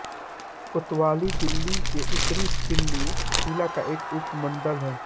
कोतवाली दिल्ली के उत्तरी दिल्ली जिला का एक उप मंडल है